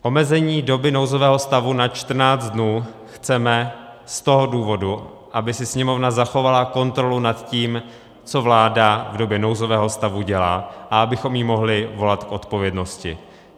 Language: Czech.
Omezení doby nouzového stavu na 14 dnů chceme z toho důvodu, aby si Sněmovna zachovala kontrolu nad tím, co vláda v době nouzového stavu dělá, a abychom ji mohli volat k odpovědnosti.